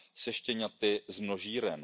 spojená se štěňaty z množíren.